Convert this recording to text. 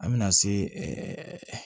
An bɛna se